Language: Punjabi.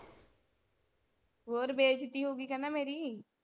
ਹੋਰ ਬੇਜ਼ਤੀ ਹੋਗੀ ਕਹਿੰਦਾ ਮੇਰੀ।